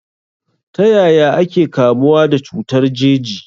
Ta yaya ake kamuwa da cutar jeji?